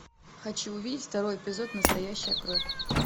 хочу увидеть второй эпизод настоящая кровь